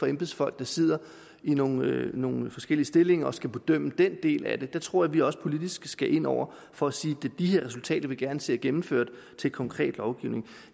embedsfolk der sidder i nogle nogle forskellige stillinger og skal bedømme den del af det jeg tror vi også politisk skal ind over for at sige det er de her resultater vi gerne ser gennemført til konkret lovgivning